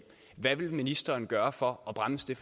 hvad vil ministeren gøre for at bremse det